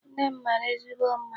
Nne m mara ezigbo mma.